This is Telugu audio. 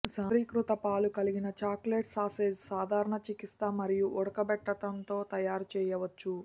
సాంద్రీకృత పాలు కలిగిన చాక్లెట్ సాసేజ్ సాధారణ చికిత్స మరియు ఉడకబెట్టడంతో తయారు చేయవచ్చు